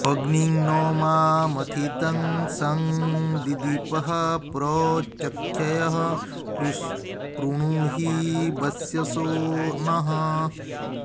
अग्निं न मा मथितं सं दिदीपः प्र चक्षय कृणुहि वस्यसो नः